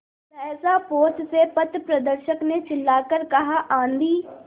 सहसा पोत से पथप्रदर्शक ने चिल्लाकर कहा आँधी